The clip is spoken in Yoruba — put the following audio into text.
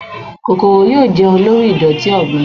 kòkòrò yóò jẹun lori idoti ọgbin.